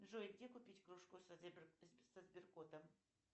джой где купить кружку со сберкотом